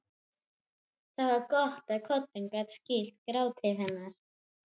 Það var gott að koddinn gat skýlt gráti hennar.